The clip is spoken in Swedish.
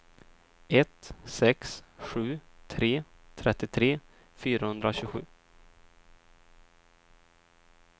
ett sex sju tre trettiotre fyrahundratjugosju